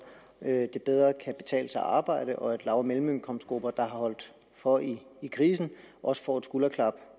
at det bedre kan betale sig at arbejde og at lav og mellemindkomstgrupperne der har holdt for i i krisen også får et skulderklap